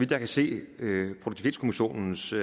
kan se